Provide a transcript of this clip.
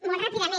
molt ràpidament